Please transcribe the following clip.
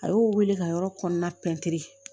A y'o wele ka yɔrɔ kɔnɔna pɛntiri